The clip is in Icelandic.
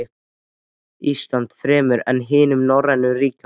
Íslandi fremur en hinum norrænu ríkjunum.